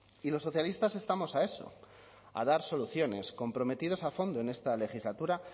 y los socialistas estamos a eso a dar soluciones comprometidos a fondo en esta legislatura